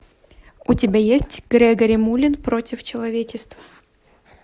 у тебя есть грегори мулин против человечества